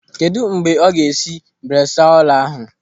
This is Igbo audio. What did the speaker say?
Kedụ mgbe ọ ga-esi bresaola ahụ?